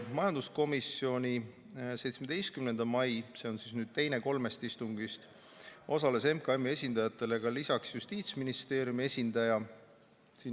Majanduskomisjoni 17. mai istungil – see on nüüd teine kolmest istungist – osales lisaks MKM-i esindajatele ka Justiitsministeeriumi esindaja.